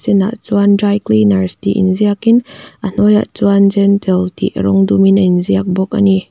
inah chuan dry cleaners tih in ziak in a hnuaiah chuan gentle tih rawng dum in a in ziak bawk ani.